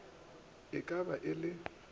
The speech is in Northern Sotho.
e ka ba e le